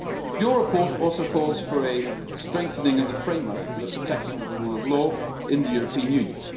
Your report also calls for a strengthening of the framework for the protection of the rule of law in the European Union.